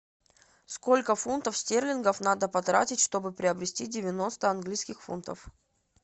сколько фунтов стерлингов надо потратить чтобы приобрести девяносто английских фунтов